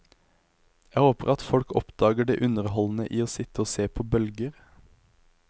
Jeg håper at folk oppdager det underholdende i å sitte og se på bølger.